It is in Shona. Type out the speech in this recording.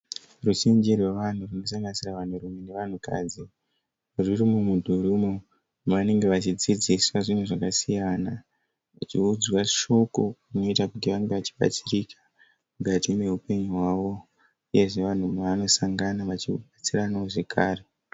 Ruzhinji rwevanhu runosanganisira vanhurume nevanhukadzi ruri mumudhuri umo mavanenge vachidzidziswa zvinhu zvakasiyana vachiudzwa shoko rinoita kuti vange vachibatsirika mukati meupenyu hwawo uyezve vanhu mavanosangana vachibatsiranawo zvakare.